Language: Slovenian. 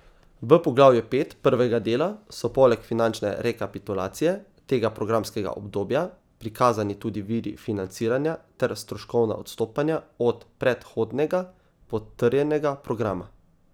V poglavju pet prvega dela so poleg finančne rekapitulacije tega programskega obdobja prikazani tudi viri financiranja ter stroškovna odstopanja od predhodnega potrjenega programa.